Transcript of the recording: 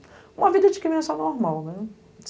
Uma vida de criança normal, né?